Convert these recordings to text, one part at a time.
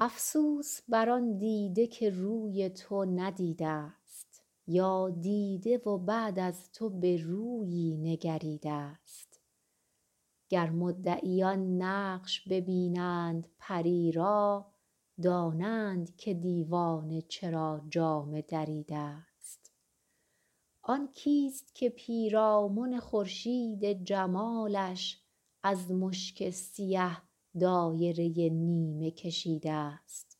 افسوس بر آن دیده که روی تو ندیده ست یا دیده و بعد از تو به رویی نگریده ست گر مدعیان نقش ببینند پری را دانند که دیوانه چرا جامه دریده ست آن کیست که پیرامن خورشید جمالش از مشک سیه دایره نیمه کشیده ست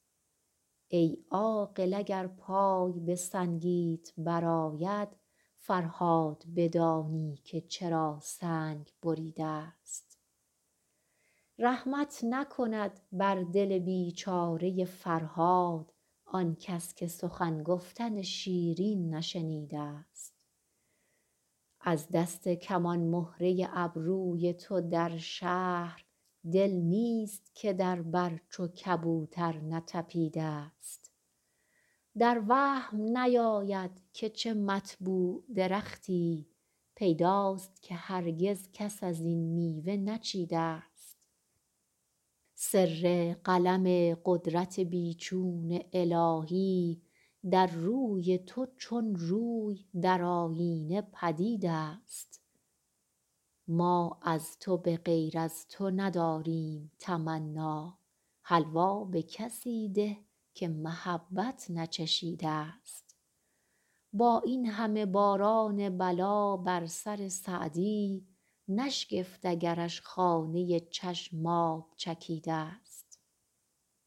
ای عاقل اگر پای به سنگیت برآید فرهاد بدانی که چرا سنگ بریده ست رحمت نکند بر دل بیچاره فرهاد آنکس که سخن گفتن شیرین نشنیده ست از دست کمان مهره ابروی تو در شهر دل نیست که در بر چو کبوتر نتپیده ست در وهم نیاید که چه مطبوع درختی پیداست که هرگز کس از این میوه نچیده ست سر قلم قدرت بی چون الهی در روی تو چون روی در آیینه پدید است ما از تو به غیر از تو نداریم تمنا حلوا به کسی ده که محبت نچشیده ست با این همه باران بلا بر سر سعدی نشگفت اگرش خانه چشم آب چکیده ست